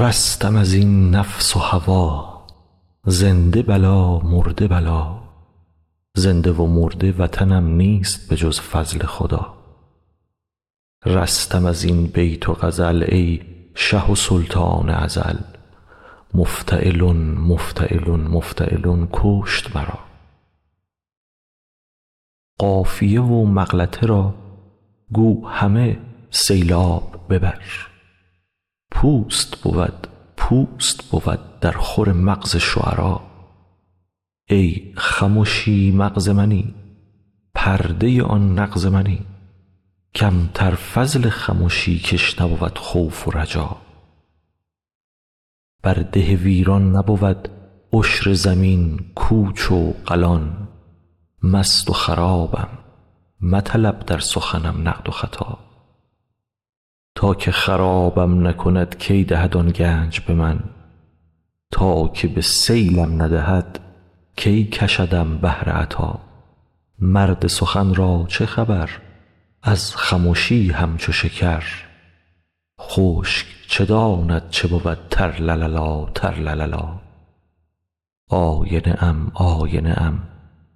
رستم از این نفس و هوا زنده بلا مرده بلا زنده و مرده وطنم نیست به جز فضل خدا رستم از این بیت و غزل ای شه و سلطان ازل مفتعلن مفتعلن مفتعلن کشت مرا قافیه و مغلطه را گو همه سیلاب ببر پوست بود پوست بود درخور مغز شعرا ای خمشی مغز منی پرده آن نغز منی کم تر فضل خمشی کش نبود خوف و رجا بر ده ویران نبود عشر زمین کوچ و قلان مست و خرابم مطلب در سخنم نقد و خطا تا که خرابم نکند کی دهد آن گنج به من تا که به سیلم ندهد کی کشدم بحر عطا مرد سخن را چه خبر از خمشی همچو شکر خشک چه داند چه بود ترلللا ترلللا آینه ام آینه ام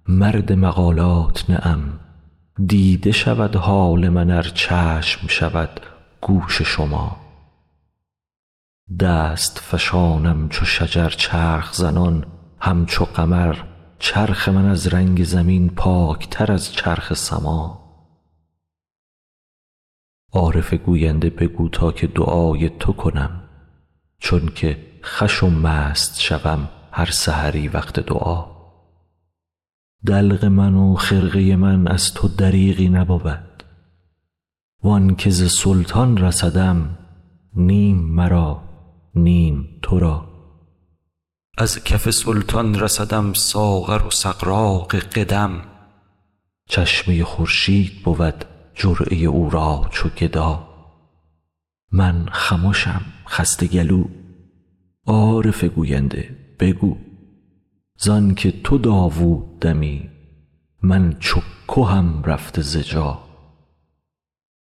مرد مقالات نه ام دیده شود حال من ار چشم شود گوش شما دست فشانم چو شجر چرخ زنان همچو قمر چرخ من از رنگ زمین پاک تر از چرخ سما عارف گوینده بگو تا که دعای تو کنم چون که خوش و مست شوم هر سحری وقت دعا دلق من و خرقه من از تو دریغی نبود و آن که ز سلطان رسدم نیم مرا نیم تو را از کف سلطان رسدم ساغر و سغراق قدم چشمه خورشید بود جرعه او را چو گدا من خمشم خسته گلو عارف گوینده بگو ز آن که تو داوود دمی من چو کهم رفته ز جا